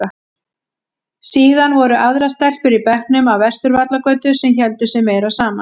Síðan voru aðrar stelpur í bekknum af Vesturvallagötu sem héldu sig meira saman.